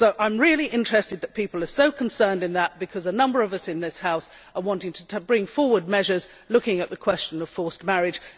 I am really interested that people are so concerned about this because a number of us in this House want to bring forward measures looking at the question of forced marriage.